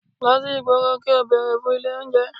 Lọ sí ìgboro kò bere fún ilé oúnjẹ.